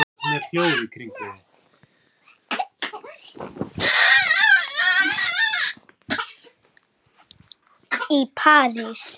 í París.